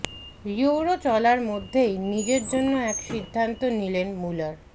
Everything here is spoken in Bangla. ইউরো চলার মধ্যেই নিজের জন্য এক সিদ্ধান্ত নিলেন মুলার